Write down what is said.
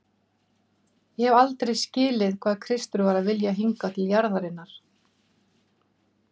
Ég hef aldrei skilið hvað Kristur var að vilja hingað til jarðarinnar.